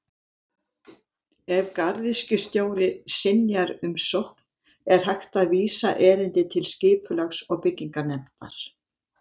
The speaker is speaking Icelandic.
Ef garðyrkjustjóri synjar umsókn er hægt að vísa erindi til Skipulags- og bygginganefndar.